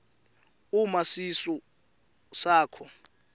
uma sisu sakho